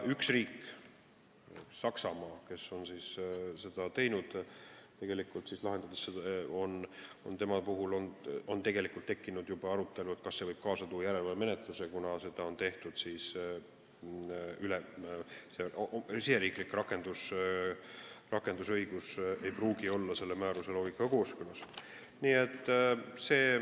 Ühes riigis, kes seda on teinud, Saksamaal, on tekkinud juba arutelu, kas see võib kaasa tuua järelevalvemenetluse, kuna riigisisene rakendusõigus ei pruugi olla selle määruse loogikaga kooskõlas.